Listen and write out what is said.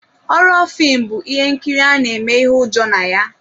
Họrọ filmu bụ ihe nkiri ana eme ihe ụjọ na ya.